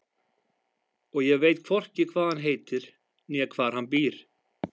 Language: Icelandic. Og ég veit hvorki hvað hann heitir né hvar hann býr.